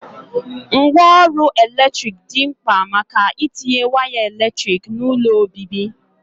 Ngwa ọrụ eletrik di mkpa maka itinye waya eletrik n'ulo obibi.